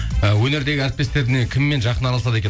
і өнердегі әріптестеріне кіммен жақын араласады екен